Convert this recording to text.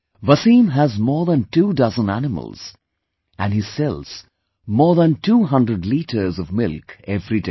Wasim has more than two dozen animals and he sells more than two hundred liters of milk every day